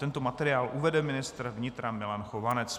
Tento materiál uvede ministr vnitra Milan Chovanec.